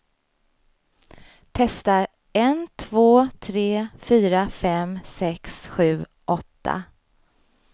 Testar en två tre fyra fem sex sju åtta.